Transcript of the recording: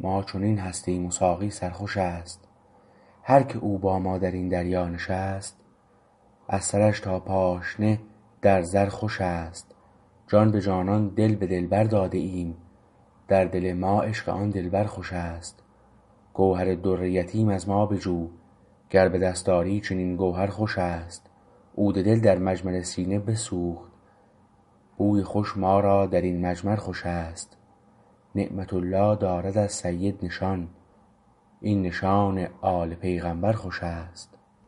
ما چنین هستیم و ساقی سرخوشست هر که او با ما درین دریا نشست از سرش تا پاشنه در زر خوشست جان به جانان دل بدلبر داده ایم در دل ما عشق آن دلبر خوشست گوهر در یتیم از ما بجو گر به دست آری چنین گوهر خوشست عود دل در مجمر سینه بسوخت بوی خوش ما را درین مجمر خوشست نعمت الله دارد از سید نشان این نشان آل پیغمبر خوشست